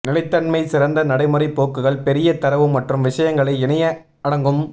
நிலைத்தன்மை சிறந்த நடைமுறை போக்குகள் பெரிய தரவு மற்றும் விஷயங்களை இணைய அடங்கும்